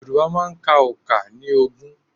Yorùbá máa ń ka òǹkà ní ogún.